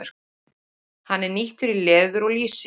Hann er nýttur í leður og lýsi.